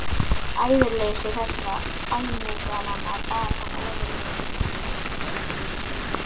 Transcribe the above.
Æðruleysi þessara almúgamanna bar hann ofurliði.